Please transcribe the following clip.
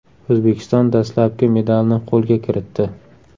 O‘zbekiston dastlabki medalni qo‘lga kiritdi.